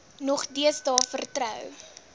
nog deesdae vertrou